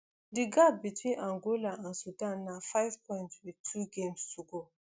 di gap between angola and sudan na five points wit two games to go